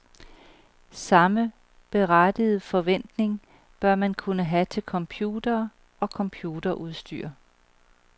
Samme berettigede forventning bør man kunne have til computere og computerudstyr.